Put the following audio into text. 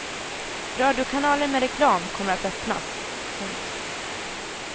Radiokanaler med reklam kommer att öppnas. punkt